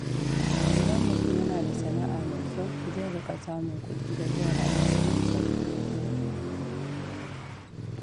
Idan mutum yana da sana’a mai kyau, zai riƙa samun kuɗi da zai rayu cikin sauƙi.